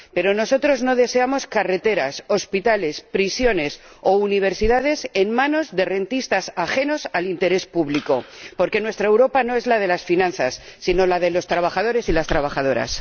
Pero nosotros no deseamos carreteras, hospitales, prisiones o universidades en manos de rentistas ajenos al interés público, porque nuestra Europa no es la de las finanzas, sino la de los trabajadores y las trabajadoras.